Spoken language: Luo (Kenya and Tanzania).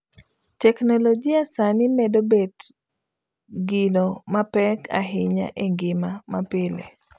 Teknologia sani medo bet gino mapek ahinya e ngima mapile.